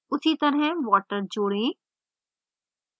उसी तरह water जोड़ें